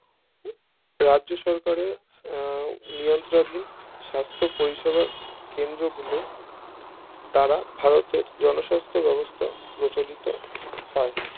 রাজ্যসরকারের আহ নিয়ন্তাধিন সাস্থ পরিষেবা কেন্দ্র গুলো দ্বারা ভারতের জনস্বাস্থ বেবস্থা বিচলিত হয়